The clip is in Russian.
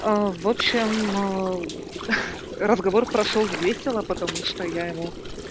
в общем разговор прошёл весело потому что я ему